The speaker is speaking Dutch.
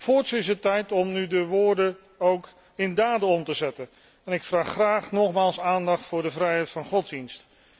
Voorts is het tijd om nu de woorden ook in daden om te zetten en ik vraag graag nogmaals aandacht voor de vrijheid van godsdienst.